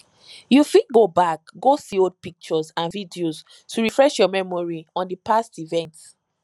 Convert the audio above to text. you fit go back go see old pictures and videos to refresh your memory on di past event